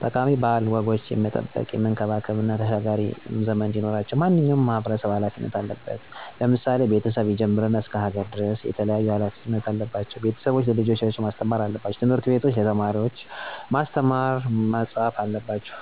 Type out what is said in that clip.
ጠቃሚ ባህላዊ ወጎችን የመጠበቅ፣ የመንከባከብ እና ተሻጋሪ ዘመን እንዲኖራቸው ማንኛውም ማህበረሰብ ሀላፊነት አለበት። ለምሳሌ፦ ከቤተሰብ ይጀምርና እስከ ሀገር ድረስ የተለያዩ ሀላፊነቶች አለባቸው። ቤተሰብ ለልጆቻቸው ማስተማር አለባቸው። ትምህርት ቤቶችም ለተማሪወች ማስተማር ጥሩና መጥፎውን ከመለየት ጀምሮ እስከ በመፅሀፍ መፅሀፍ በአጠቃላይ ሁሉም ማህበረሰብ ሀላፊነቱን ከመጠበቅ ከማስተማር ሀላፊነቱን ሊወጣ ይገባል።